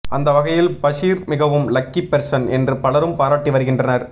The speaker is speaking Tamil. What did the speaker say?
அந்த வகையில் பஷீர் மிகவும் லக்கி பெர்சன் என்று பலரும் பாராட்டி வருகின்றனர்